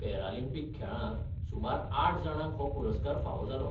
Paralympic खेळांत सुमार आठ जाणांक हो पुरस्कार फावो जालो.